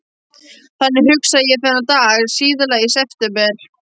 Þannig hugsaði ég þennan dag síðla í september.